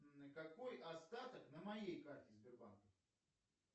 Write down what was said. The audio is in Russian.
какой остаток на моей карте сбербанка